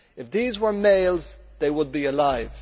If these were males, they would be alive.